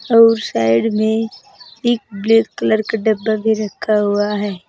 और साइड मे एक ब्लैक कलर का डब्बा भी रखा हुआ है।